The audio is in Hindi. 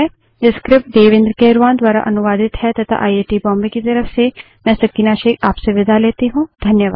यह स्क्रिप्ट देवेन्द्र कैरवान द्वारा अनुवादित है तथा आई आई टी बॉम्बे की तरफ से मैं सकीना शेख अब आप से विदा लेती हूँ